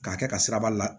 K'a kɛ ka siraba la